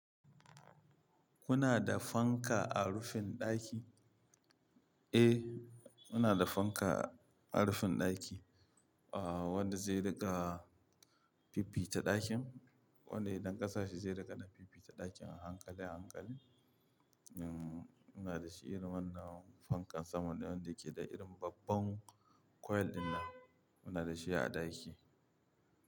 Kuna da fanka a rufin ɗaki? Eh, muna da fanka a rufin ɗaki, ah wanda zai riƙa fiffita ɗakin. Wanda idan ƙasa shi zai riƙa na fiffi ta ɗakin a hankali hankali. Um, muna da shi irin wannan fankan saman da wanda yake da irin babban coil dina. Muna da shi a ɗaki.